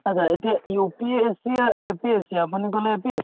achcha এতিয়া UPSC য়ে APSC আপুনি ক'লে APSC